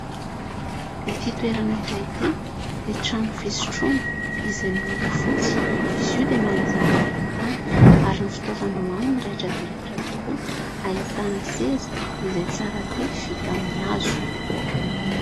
Ity toerana iray ity dia trano fisotroana izay miloko fotsy, izy io dia malaza manerantany ary ny fitaovana ao amin'ny raitra dia raitra tokoa, ahitana seza izay tsara vita tamin'ny hazo.